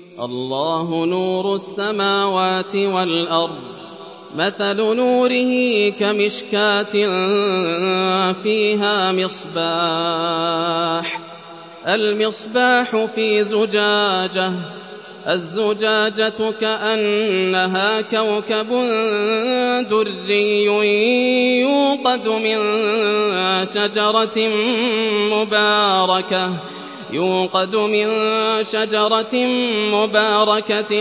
۞ اللَّهُ نُورُ السَّمَاوَاتِ وَالْأَرْضِ ۚ مَثَلُ نُورِهِ كَمِشْكَاةٍ فِيهَا مِصْبَاحٌ ۖ الْمِصْبَاحُ فِي زُجَاجَةٍ ۖ الزُّجَاجَةُ كَأَنَّهَا كَوْكَبٌ دُرِّيٌّ يُوقَدُ مِن شَجَرَةٍ مُّبَارَكَةٍ